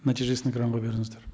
нәтижесін экранға беріңіздер